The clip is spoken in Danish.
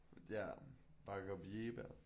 Ja Bacob Jegebjerg